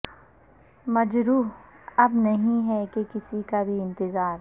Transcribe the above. مجروح اب نہیں ہے کہ کسی کا بھی انتظار